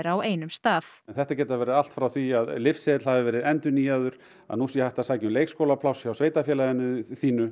á einum stað þetta getur verið allt frá því að lyfseðill hafi verið endurnýjaður að nú sé hægt að sækja um leikskólapláss hjá sveitarfélaginu þínu